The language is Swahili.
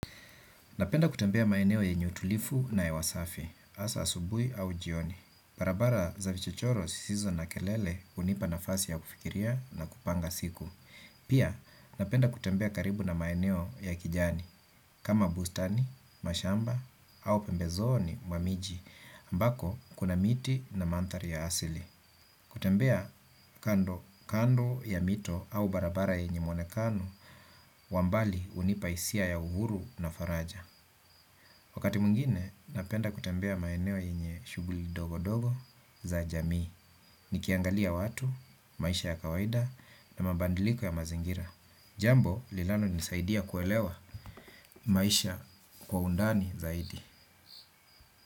Napenda kutembea maeneo yenye utulifu na hewa safi, hasa asubuhi au jioni. Barabara za vichichoro sisizo na kelele hunipa nafasi ya kufikiria na kupanga siku. Pia napenda kutembea karibu na maeneo ya kijani, kama bustani, mashamba au pembezoni mwa miji, ambako kuna miti na mandhari ya asili. Kutembea kando ya mito au barabara yenye mwonekano, wa mbali hunipa hisia ya uhuru na faraja. Wakati mwingine, napenda kutembea maeneo yenye shughuli ndogo ndogo za jamii. Nikiangalia watu, maisha ya kawaida na mabadiliko ya mazingira. Jambo, linalonisaidia kuelewa maisha kwa undani zaidi.